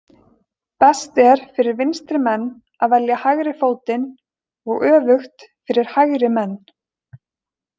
Best er fyrir vinstri menn að velja hægri fótinn og öfugt fyrir hægri menn.